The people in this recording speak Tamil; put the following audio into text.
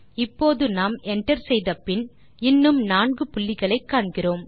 இப்போது நாம் Enter செய்தபின் இன்னும் நான்கு புள்ளிகளை காண்கிறோம்